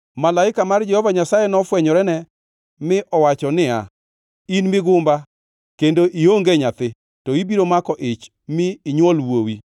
Malaika mar Jehova Nyasaye nofwenyorene mi owacho niya, “In migumba kendo ionge nyathi to ibiro mako ich mi inywol wuowi.